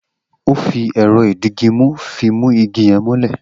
O fi èrọ ìdigimú fi mu igi yen mọ́lè